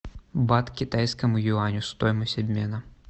бат к китайскому юаню стоимость обмена